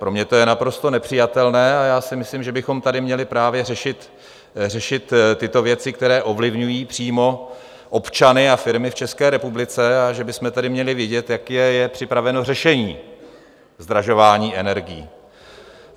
Pro mě to je naprosto nepřijatelné a já si myslím, že bychom tady měli právě řešit tyto věci, které ovlivňují přímo občany a firmy v České republice, a že bychom tedy měli vědět, jaké je připraveno řešení zdražování energií.